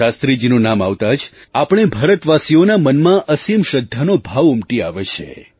શાસ્ત્રીજીનું નામ આવતાં જ આપણે ભારતવાસીઓના મનમાં અસીમ શ્રદ્ધાનો ભાવ ઉમટી આવે છે